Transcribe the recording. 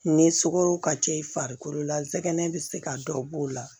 Ni sukaro ka c'i farikolo la jɛgɛ bɛ se ka dɔ b'o la